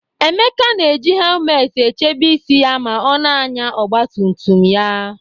Emeka na-eji hemelt echebe isi ya ma ọ na-anya ọgba tum tum ya